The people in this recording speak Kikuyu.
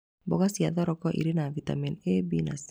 Mboga ya thoroko ĩrĩ na vitameni A,B na C.